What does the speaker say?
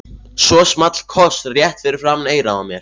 Svo small koss rétt fyrir framan eyrað á mér.